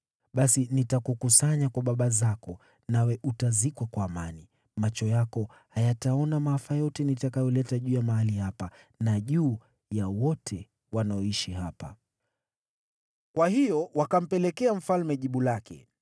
Basi nitakukusanya kwa baba zako, nawe utazikwa kwa amani. Macho yako hayataona maafa yote nitakayoleta juu ya mahali hapa na juu ya wote wanaoishi hapa.’ ” Kwa hiyo wakampelekea mfalme jibu lake.